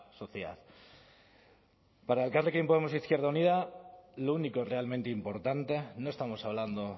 sociedad para elkarrekin podemos e izquierda unida lo único realmente importante no estamos hablando